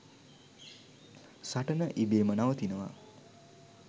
සටන ඉබේම නවතිනවා.